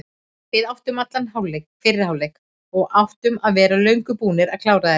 Við áttum allan fyrri hálfleik og áttum að vera löngu búnir að klára þetta.